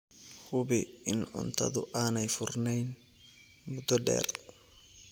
Hubi in cuntadu aanay furnayn muddo dheer.